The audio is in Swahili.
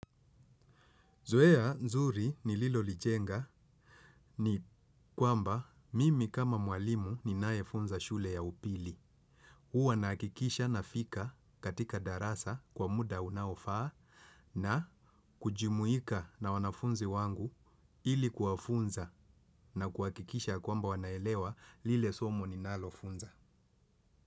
Zoea nzuri nililolijenga ni kwamba mimi kama mwalimu ninaefunza shule ya upili. Huwa nahakikisha nafika katika darasa kwa muda unaofaa na kujumuika na wanafunzi wangu ili kuwafunza na kuhakikisha kwamba wanaelewa lile somo ninalofunza.